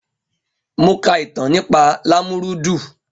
Mo ka ìtàn nípa Lámúrúdu.